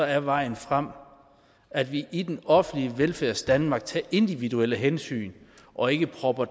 er vejen frem at vi i det offentlige velfærdsdanmark tager individuelle hensyn og ikke propper